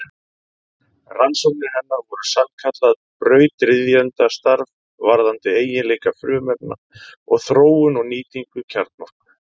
Rannsóknir hennar voru sannkallað brautryðjendastarf varðandi eiginleika frumefna og þróun og nýtingu kjarnorku.